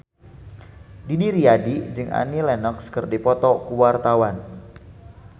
Didi Riyadi jeung Annie Lenox keur dipoto ku wartawan